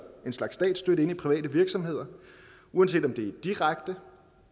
en slags statsstøtte ind i private virksomheder uanset om det er direkte